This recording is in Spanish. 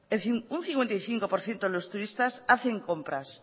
un cincuenta y cinco por ciento de los turistas hacen compras